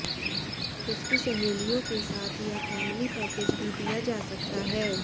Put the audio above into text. उसकी सहेलियों के साथ या फैमिली पैकेज भी दिया जा सकता है